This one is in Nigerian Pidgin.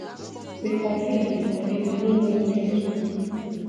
we confuse we confuse we no know wia to go